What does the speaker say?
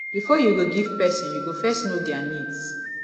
before you go give person you go first know their needs